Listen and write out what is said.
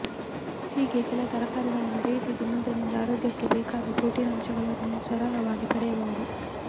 ಹೀಗೆ ಕೆಲ ತರಕಾರಿಗಳನ್ನು ಬೇಯಿಸಿ ತಿನ್ನುವುದರಿಂದ ಆರೋಗ್ಯಕ್ಕೆ ಬೇಕಾದ ಪ್ರೋಟೀನ್ ಅಂಶಗಳನ್ನು ಸರಾಗವಾಗಿ ಪಡೆಯಬಹುದು